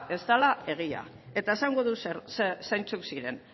ez dala egia eta esango dut zeintzuk ziren